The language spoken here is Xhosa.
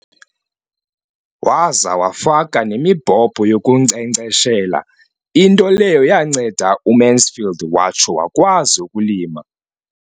Waza wafaka nemibhobho yokunkcenkceshela, into leyo yanceda uMansfield watsho wakwazi ukulima.